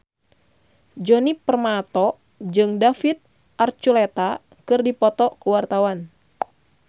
Djoni Permato jeung David Archuletta keur dipoto ku wartawan